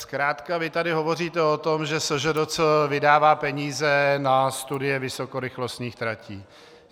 Zkrátka vy tady hovoříte o tom, že SŽDC vydává peníze na studie vysokorychlostních tratí.